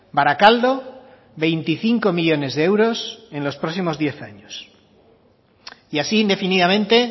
baracaldo veinticinco millónes de euros en los próximos diez años y así indefinidamente